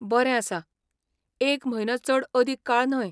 बरें आसा, एक म्हयनो चड अदीक काळ न्हय.